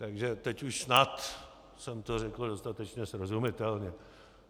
Takže teď už snad jsem to řekl dostatečně srozumitelně.